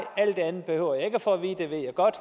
alt det andet behøver jeg ikke at for